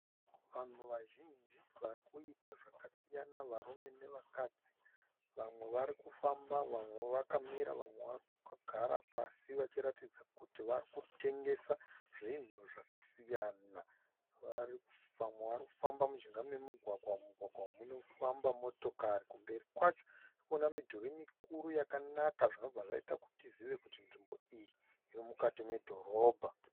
Vanhu vazhinji vari kuita zvakasiyana. varume nevakadzi vamwe varikufamba vamwe vakamira vamwe vakagara pasi vachiratidza kuti vari kutengesa zvinhu zvakasiyana vamwe vari kufamba mujinga memugwagwa. Mumugwagwa umu munofamba motokari. Kumberi kwacho tiri kuona midhuri mikuru yakanaka zvinobva zvaita kuti tizive kuti nzvimbo iyi iri mukati medhorobha